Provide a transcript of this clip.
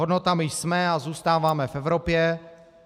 Hodnotami jsme a zůstáváme v Evropě.